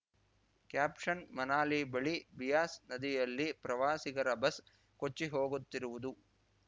caption Manali ಬಳಿ ಬಿಯಾಸ್‌ ನದಿಯಲ್ಲಿ ಪ್ರವಾಸಿಗರ ಬಸ್‌ ಕೊಚ್ಚಿಹೋಗುತ್ತಿರುವುದು